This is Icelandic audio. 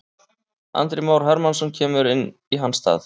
Andri Már Hermannsson kemur inn í hans stað.